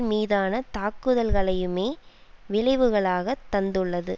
மீதான தாக்குதல்களையுமே விளைவுகளாகத் தந்துள்ளது